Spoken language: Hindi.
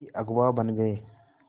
भी अगुवा बन गए